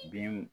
Binw